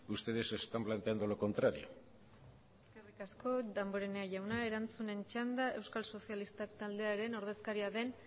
ustedes están planteando lo contrario eskerrik asko damborenea jauna erantzunen txanda euskal sozialistak taldearen ordezkaria den